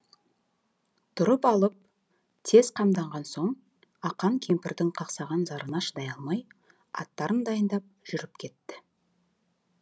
тұрып алып тез қамданған соң ақан кемпірдің қақсаған зарына шыдай алмай аттарын дайындап жүріп кетті